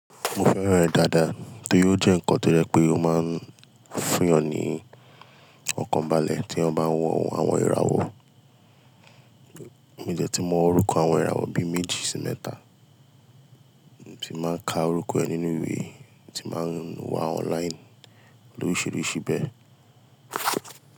Mo fẹ́ràn rẹ̀ dáadáa torí ó jẹ́ nǹkan tó jẹ̀ pé ó máa ń fún yáń ní ọ̀kan balẹ̀ tí éyàn bá ń wọn àwọn ìràwọ̀. Mó dẹ̀ ti mọ òrùka àwọn ìràwọ̀ bíi méjì sí mẹ́ta, mo ti máa ń ka orúkọ ẹ nínú ìwé, mo ti máa ń wá online lóríṣiríṣi bẹ́ẹ̀.